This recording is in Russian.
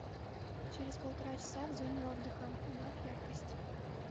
через полтора часа в зоне отдыха убавь яркость